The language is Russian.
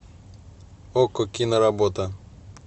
окко киноработа